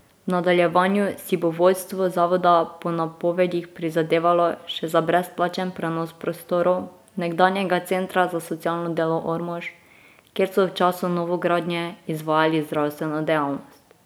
V nadaljevanju si bo vodstvo zavoda po napovedih prizadevalo še za brezplačen prenos prostorov nekdanjega Centra za socialno delo Ormož, kjer so v času novogradnje izvajali zdravstveno dejavnost.